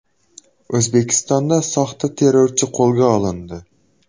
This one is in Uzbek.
O‘zbekistonda soxta terrorchi qo‘lga olindi.